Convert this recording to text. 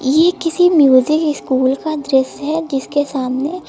ये किसी music school का दृश्य है जिसके सामने--